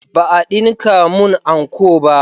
Ba a dinka mun anko ba